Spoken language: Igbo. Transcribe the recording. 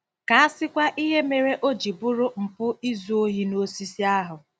Ka a sịkwa ihe mere o ji bụrụ mpụ izu ohi n'osisi ahụ!